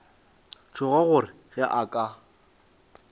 tšhoga gore ge a ka